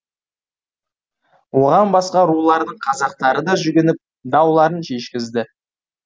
оған басқа рулардың қазақтары да жүгініп дауларын шешкізді